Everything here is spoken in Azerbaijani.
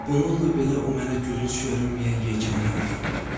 Bununla belə o mənə gülünc görünməyən yeganə adamdır.